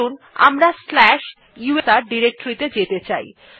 ধরুন আমরা slash USR directory তে যেতে চাই